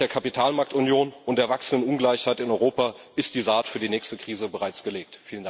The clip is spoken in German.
Denn mit der Kapitalmarktunion und der wachsenden Ungleichheit in Europa ist die Saat für die nächste Krise bereits gelegt.